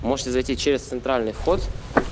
можете зайти через центральный вход